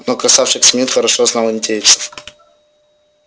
но красавчик смит хорошо знал индейцев